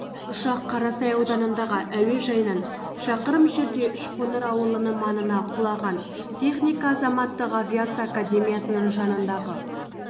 ұшақ қарасай ауданындағы әуежайынан шақырым жерде үшқоңыр ауылының маңына құлаған техника азаматтық авиация академиясының жанындағы